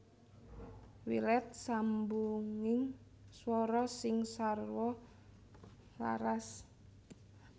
Wilet sambunging swara sing sarwa laras